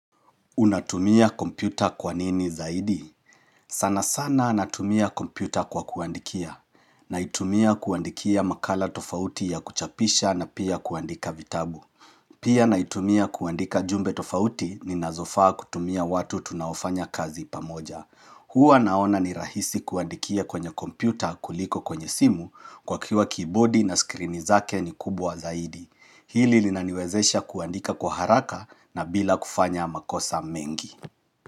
Unatumia kompyuta kwa nini zaidi? Sana sana anatumia kompyuta kwa kuandikia. Naitumia kuandikia makala tofauti ya kuchapisha na pia kuandika vitabu. Pia naitumia kuandika jumbe tofauti ninazofaa kutumia watu tunaofanya kazi pamoja. Huwa naona ni rahisi kuandikia kwenye kompyuta kuliko kwenye simu kwa kuwa kibodi na skrini zake ni kubwa zaidi. Hili linaniwezesha kuandika kwa haraka na bila kufanya makosa mengi.